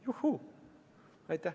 Juhuu!